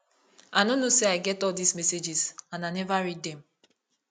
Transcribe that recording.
i no know say i get all dis messages and i never read dem